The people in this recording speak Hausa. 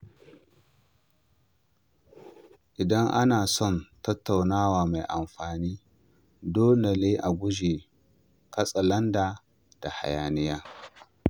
Idan ana son tattaunawa mai amfani, dole ne a guji katsalandan da hayaniya.